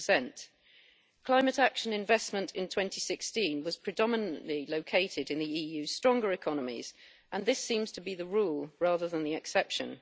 20. Climate action investment in 2016 was predominantly located in the EU's stronger economies, and this seems to be the rule rather than the exception.